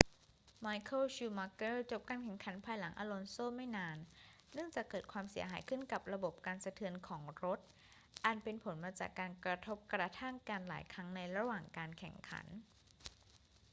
ไมเคิล ชูมักเกอร์ จบการแข่งขันภายหลังอลอนโซไม่นาน เนื่องจากเกิดความเสียหายขึ้นกับระบบกันสะเทือนของรถ อันเป็นผลมาจากการกระทบกระทั่งกันหลายครั้งในระหว่างการแข่งขัน